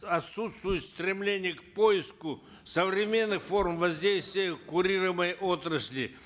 отсутствует стремление к поиску современных форм воздействия курируемой отрасли